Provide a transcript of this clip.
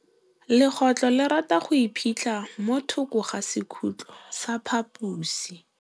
Legôtlô le rata go iphitlha mo thokô ga sekhutlo sa phaposi.